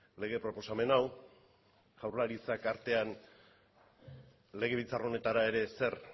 lege proposamen hau jaurlaritzak artean legebiltzar honetara ere ezer